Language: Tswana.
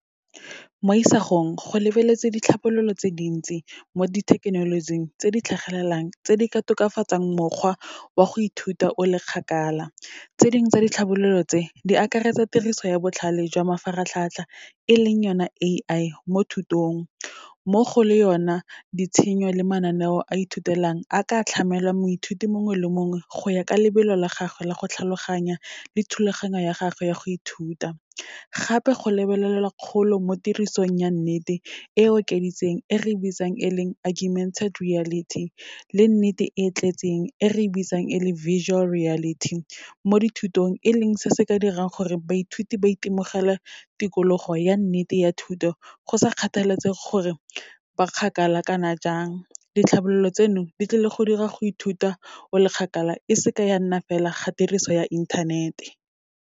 Mo isagong, go lebeletse ditlhabololo tse dintsi mo dithekenolojing tse di tlhagelelang, tse di ka tokafatsang mokgwa wa go ithuta o le kgakala. Tse dingwe tsa ditlhabololo tse, di akaretsa tiriso ya botlhale jwa mafaratlhatlha, e leng yona A_I mo thutong, mmogo le yona ditshenyo le mananeo a ithutelang a ka tlhamelang moithuti mongwe le mongwe go ya ka lebelo la gagwe la go tlhaloganya, le thulaganyo ya gagwe ya go ithuta. Gape go lebelelwa kgolo mo tirisong ya nnete, e okeditseng e re bitsang e leng Argumented reality le nnete e e tletseng e re bitsang e leng virtual reality. Mo dithutong e leng se se ka dirang gore baithuti ba itemogele tikologo ya nnete ya thuto, go sa kgathalesege gore ba kgakala kana jang. Ditlhabololo tseno, di tlile go dira go ithuta o le kgakala e se ke ya nna fela ga tiriso ya inthanete.